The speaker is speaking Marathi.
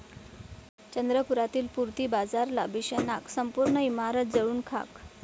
चंद्रपुरातील पूर्ती बाजारला भीषण आग, संपूर्ण इमारत जळून खाक